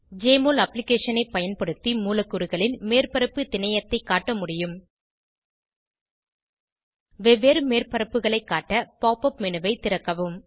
JMOL அப்ளிகேஷனை பயன்படுத்தி மூலக்கூறுகளின் மேற்பரப்பு திணையத்தை காட்ட முடியும் வெவ்வேறு மேற்பரப்புகளை காட்ட pop உப் மேனு ஐ திறக்கவும்